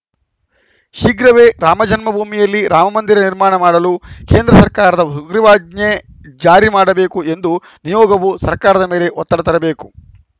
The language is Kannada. ಶೀಘ್ರವೇ ರಾಮ ಜನ್ಮ ಭೂಮಿಯಲ್ಲಿ ರಾಮಮಂದಿರ ನಿರ್ಮಾಣ ಮಾಡಲು ಕೇಂದ್ರ ಸರ್ಕಾರದ ಸುಗ್ರೀವಾಜ್ಞೆ ಜಾರಿ ಮಾಡಬೇಕು ಎಂದು ನಿಯೋಗವು ಸರ್ಕಾರದ ಮೇಲೆ ಒತ್ತಡ ತರಬೇಕು